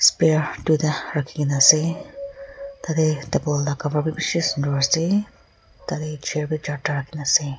spear duita rakhi kena ase tadey table la cover bi bishi sundur ase tadey chair bhi charta rakhina ase.